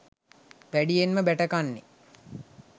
වැඩියෙන්ම බැටකන්නේ